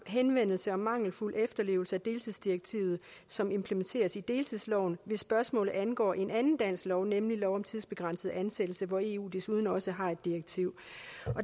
henvendelse om mangelfuld efterlevelse af deltidsdirektivet som implementeres i deltidsloven hvis spørgsmålet angår en anden dansk lov nemlig lov om tidsbegrænset ansættelse hvor eu desuden også har et direktiv